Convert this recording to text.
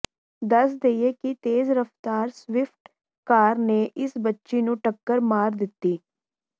ਦੱਸ ਦਈਏ ਕਿ ਤੇਜ਼ ਰਫਤਾਰ ਸਵਿਫਟ ਕਾਰ ਨੇ ਇਸ ਬੱਚੀ ਨੂੰ ਟੱਕਰ ਮਾਰ ਦਿੱਤੀ